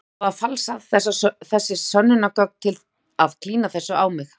Þið hljótið að hafa falsað þessi sönnunargögn til að klína þessu á mig.